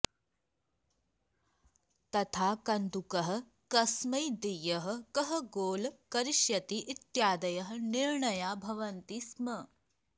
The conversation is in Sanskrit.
तथा कन्दुकः कस्मै देयः कः गोल् करिष्यति इत्यादयः निर्णयाः भवन्ति स्म